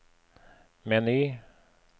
meny